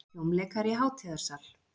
hljómleikar í hátíðarsal.